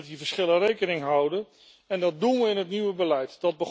Je moet dus met die verschillen rekening houden en dat doen we in het nieuwe beleid.